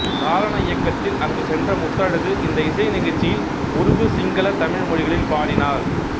சாரண இயக்கத்தில் அங்கு சென்ற முத்தழகு இந்த இசை நிகழ்ச்சியில் உருது சிங்கள தமிழ் மொழிகளில் பாடினார்